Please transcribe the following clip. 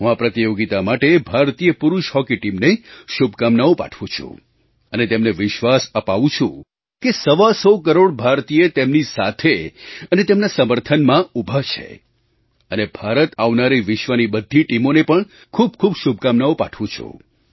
હું આ પ્રતિયોગિતા માટે ભારતીય પુરુષ હૉકી ટીમને શુભકામનાઓ પાઠવું છું અને તેમને વિશ્વાસ અપાવું છું કે સવા સો કરોડ ભારતીય તેમની સાથે અને તેમના સમર્થનમાં ઊભા છે અને ભારત આવનારી વિશ્વની બધી ટીમોને પણ ખૂબખૂબ શુભકામનાઓ પાઠવું છું